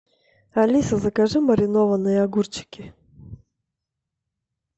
алиса закажи маринованные огурчики